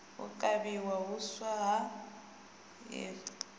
u kavhiwa huswa ha hiv